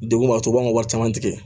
Degun b'a sɔrɔ u b'an ka wari caman tigɛ